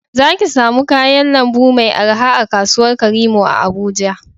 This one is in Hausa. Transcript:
Za ki samu kayan lambu mai araha a kasuwar karimo a Abuja